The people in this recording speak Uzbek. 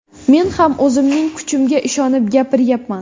Men ham o‘zimning kuchimga ishonib gapiryapman.